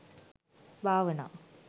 භාවනා